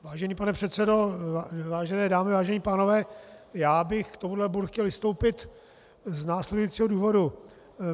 Vážený pane předsedo, vážené dámy, vážení pánové, já bych k tomuto bodu chtěl vystoupit z následujícího důvodu.